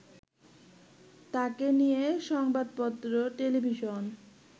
তাকে নিয়ে সংবাদপত্র, টেলিভিশন